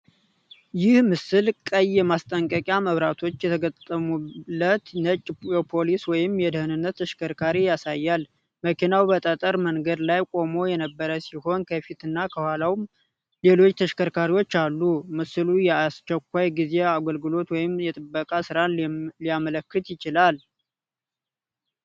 ይህ ምስል ቀይ የማስጠንቀቂያ መብራቶች የተገጠሙለት ነጭ የፖሊስ ወይም የደህንነት ተሽከርካሪ ያሳያል። መኪናው በጠጠር መንገድ ላይ ቆሞ የነበረ ሲሆን፣ ከፊትና ከኋላውም ሌሎች ተሽከርካሪዎች አሉ። ምስሉ የየአስቸኳይ ጊዜ አገልግሎት ወይም የጥበቃ ሥራን ሊያመለክት ይችላል።